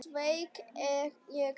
Sveik ég þá?